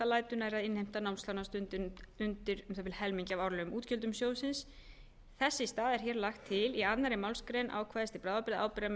lætur nærri að innheimta námslána standi undir um það bil helmingi af árlegum útgjöldum sjóðsins í þess stað er hér lagt til í annarri málsgrein ákvæðis til bráðabirgða að ábyrgðarmann njóti